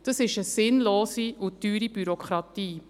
Das ist eine sinnlose und teure Bürokratie.